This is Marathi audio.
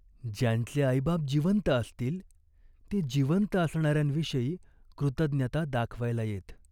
ज्यांचे आईबाप जिवंत असतील ते जिवंत असणाऱ्यांविषयी कृतज्ञता दाखवायला येत.